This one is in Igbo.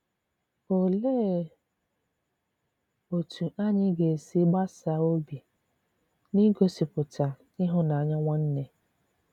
Òlee otú anyị ga-esi “gbasa obi” n’ịgosipụta ịhụnanya nwanne?